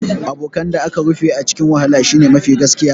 Abokan da aka rufe a cikin wahala shine mafi gaskiya